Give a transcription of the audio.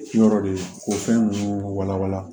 Yɔrɔ de ko fɛn ninnu walawala